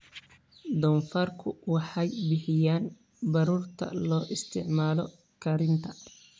Doofaarku waxay bixiyaan baruurta loo isticmaalo karinta.